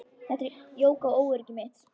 Þetta jók á óöryggi mitt.